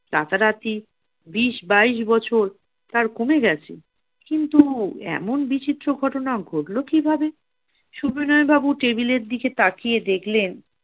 রাতারাতি বিশ বাইশ বছর তার কমে গেছে কিন্তু এমন বিচিত্র ঘটনা ঘটলো কিভাবে! সবিনয় বাবু টেবিলের দিকে তাকিয়ে দেখলেন